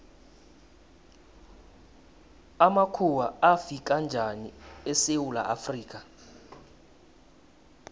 amakhuwa afika njani esewula afrika